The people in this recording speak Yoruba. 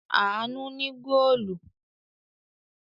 Àánú ní góólù.